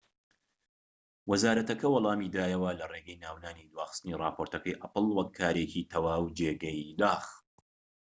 وەزارەتەکە وەڵامی دایەوە لە ڕێگەی ناونانی دواخستنی ڕاپۆرتەکەی ئەپڵ وەک کارێکی تەواو جێگەی داخ. ‎